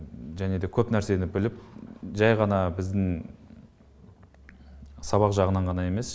және де көп нәрсені біліп жай ғана біздің сабақ жағынан ғана емес